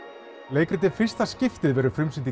leikritið fyrsta skiptið verður frumsýnt í